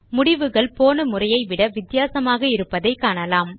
முடிவுகள் போன முறையை விட வித்தியாசமாக இருப்பதை காணலாம்